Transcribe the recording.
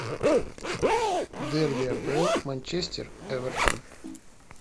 дерби апл манчестер эвертон